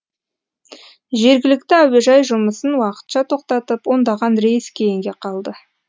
жергілікті әуежай жұмысын уақытша тоқтатып ондаған рейс кейінге қалды